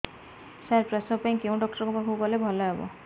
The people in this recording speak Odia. ସାର ପ୍ରସବ ପାଇଁ କେଉଁ ଡକ୍ଟର ଙ୍କ ପାଖକୁ ଗଲେ ଭଲ ହେବ